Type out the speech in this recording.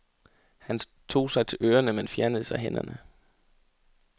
Han tog sig til ørerne, men fjernede så hænderne.